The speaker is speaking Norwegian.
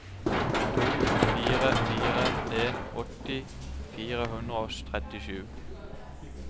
to fire fire en åtti fire hundre og trettisju